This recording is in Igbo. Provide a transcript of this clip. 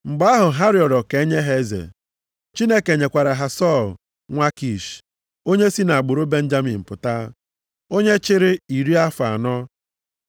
Mgbe ahụ ha rịọrọ ka enye ha eze, Chineke nyekwara ha Sọl, nwa Kish, onye si nʼagbụrụ Benjamin pụta, onye chịrị iri afọ anọ.